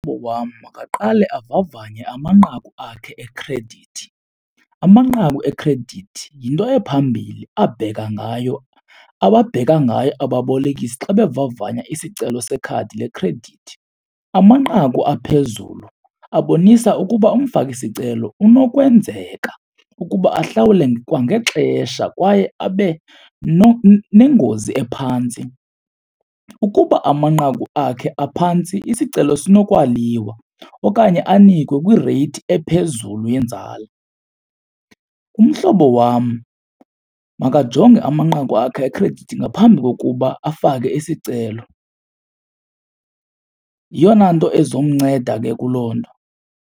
wam makaqale avavanye amanqaku akhe ekhredithi. Amanqaku ekhredithi yinto ephambili abheka ngayo, ababheka ngayo ababolekisi xa bevavanya isicelo sekhadi lekhredithi. Amanqaku aphezulu abonisa ukuba umfaki isicelo unokwenzeka ukuba ahlawule kwangexesha kwaye abe nengozi ephantsi. Ukuba amanqaku akhe aphantsi isicelo sinokwaliwa okanye anikwe kwireyithi ephezulu yenzala. Umhlobo wam makajonge amanqaku akhe ekhredithi ngaphambi kokuba afake isicelo, yeyona nto ezomnceda ke kuloo nto.